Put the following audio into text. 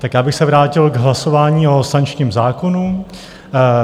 Tak já bych se vrátil k hlasování o sankčním zákonu.